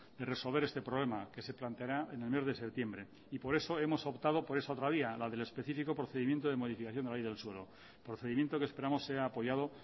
de resolver este problema que se planteará en el mes de septiembre y por eso hemos optado por esa otra vía la del específico procedimiento de modificación de la ley del suelo procedimiento que esperamos sea apoyado